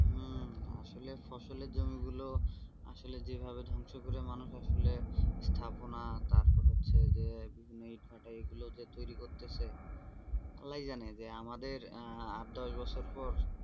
হম আসলে ফসলের জমি গুলো আসলে যেভাবে ধ্বংস করে মানুষ আসলে যে স্থাপনা, তারপর হচ্ছে যে ইটভাটা এইগুলো যে তৈরি করতেছে। আল্লাই জানে যে আমাদের আট, দশ বছর পর,